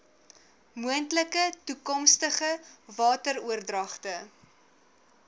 moontlike toekomstige wateroordragte